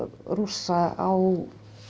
Rússa á